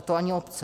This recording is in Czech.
A to ani obce.